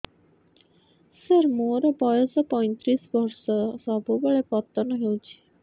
ସାର ମୋର ବୟସ ପୈତିରିଶ ବର୍ଷ ସବୁବେଳେ ପତନ ହେଉଛି